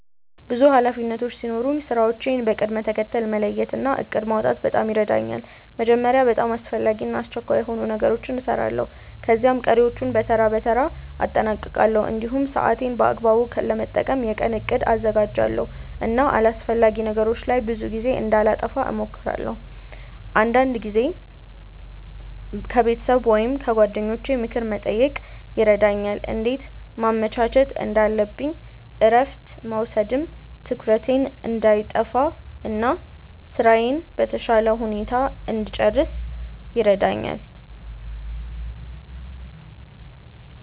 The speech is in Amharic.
ብዙ ኃላፊነቶች ሲኖሩኝ ስራዎቼን በቅደም ተከተል መለየት እና እቅድ ማውጣት በጣም ይረዳኛል። መጀመሪያ በጣም አስፈላጊ እና አስቸኳይ የሆኑ ነገሮችን እሰራለሁ፣ ከዚያ ቀሪዎቹን በተራ በተራ አጠናቅቃለሁ። እንዲሁም ሰዓቴን በአግባቡ ለመጠቀም የቀን እቅድ አዘጋጃለሁ እና አላስፈላጊ ነገሮች ላይ ብዙ ጊዜ እንዳላጠፋ እሞክራለሁ። አንዳንድ ጊዜም ከቤተሰብ ወይም ከጓደኞቼ ምክር መጠየቅ ይረዳኛል እንዴት ማመቻቸት እንዳለብኝ እረፍት መውሰድም ትኩረቴን እንዳይጠፋ እና ስራዬን በተሻለ ሁኔታ እንድጨርስ ይረዳኛል።